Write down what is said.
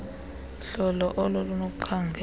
hlolo olo lunokukhangela